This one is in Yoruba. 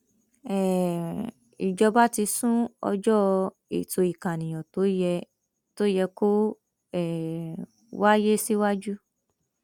um ìjọba ti sún ọjọ ètò ìkànìyàn tó yẹ tó yẹ kó um wáyé síwájú